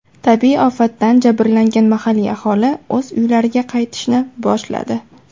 Tabiiy ofatdan jabrlangan mahalliy aholi o‘z uylariga qaytishni boshladi.